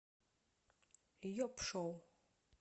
йоп шоу